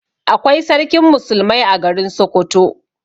Akwai Sarkin musulmai a garin Sokoto.